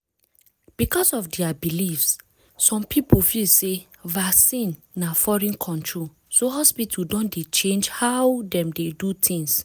because of their beliefs some people feel sey vaccine na foreign control so hospital don dey change how dem dey do things.